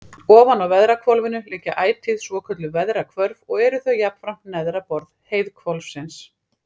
Ofan á veðrahvolfinu liggja ætíð svokölluð veðrahvörf og eru þau jafnframt neðra borð heiðhvolfsins.